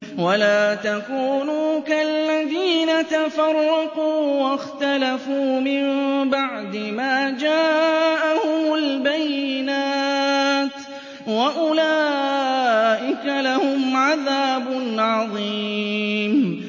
وَلَا تَكُونُوا كَالَّذِينَ تَفَرَّقُوا وَاخْتَلَفُوا مِن بَعْدِ مَا جَاءَهُمُ الْبَيِّنَاتُ ۚ وَأُولَٰئِكَ لَهُمْ عَذَابٌ عَظِيمٌ